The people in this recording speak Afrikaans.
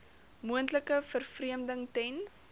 moontlike vervreemding ten